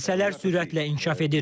Hadisələr sürətlə inkişaf edir.